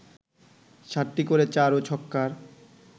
সাতটি করে চার ও ছক্কার